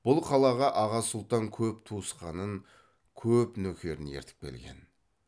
бұл қалаға аға сұлтан көп туысқанын көп нөкерін ертіп келген